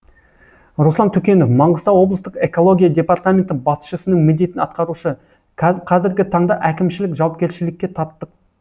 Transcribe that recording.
руслан төкенов маңғыстау облыстық экология департаменті басшысының міндетін атқарушы қазіргі таңда әкімшілік жауапкершілікке тарттық